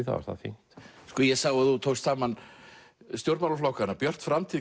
þá er það fínt ég sá að þú tókst saman stjórnmálaflokkana björt framtíð